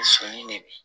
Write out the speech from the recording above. Senni de bi